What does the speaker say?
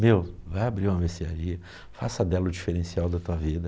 Meu, vai abrir uma mercearia, faça dela o diferencial da tua vida.